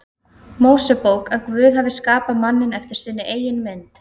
Mósebók að Guð hafi skapað manninn eftir sinni eigin mynd.